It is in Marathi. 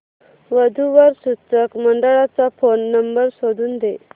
वधू वर सूचक मंडळाचा फोन नंबर शोधून दे